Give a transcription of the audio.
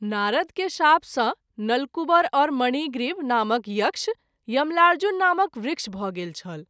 नारद के शाप सँ नलकूबर और मणिग्रीब नामक यक्ष यमलार्जुन नामक वृक्ष भ’ गेल छल।